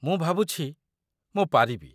ମୁଁ ଭାବୁଛି, ମୁଁ ପାରିବି।